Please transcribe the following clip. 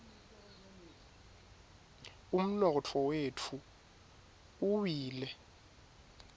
umnotfo wetfu uwile